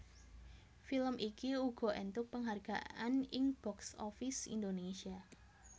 Film iki uga éntuk penghargaan ing box office Indonesia